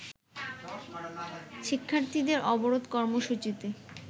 শিক্ষার্থীদের অবরোধ কর্মসূচিতে